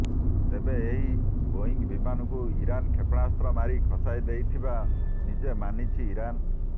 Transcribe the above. ତେବେ ଏହି ବୋଇଙ୍ଗ ବିମାନକୁ ଇରାନ୍ କ୍ଷେପଣାସ୍ତ୍ର ମାରି ଖସାଇଦେଇଥିବା ନିଜେ ମାନିଛି ଇରାନ୍